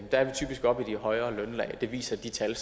der er vi typisk oppe i de højere lønlag og det viser de tal